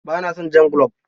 Ba na son jan gulob.